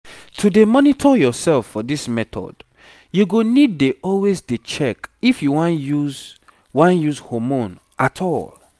to dey monitor yourself for this method you go need dey always dey check if you wan use wan use hormone at all